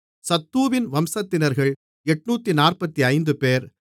சத்தூவின் வம்சத்தினர்கள் 845 பேர்